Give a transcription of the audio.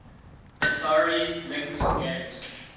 atari lynx games